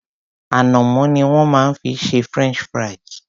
Ànàmọ́ ni wón má fi ń ṣe French fries.